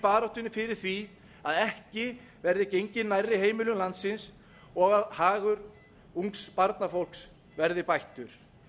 baráttunni fyrir því að ekki verði gengið nærri heimilum landsins og að hagur ungs barnafólks verði bættur